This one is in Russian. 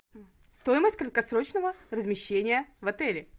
стоимость краткосрочного размещения в отеле